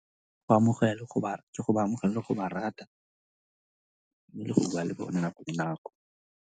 Go amogela ke go ba amogela le go ba rata mme le go bua le bone nako le nako.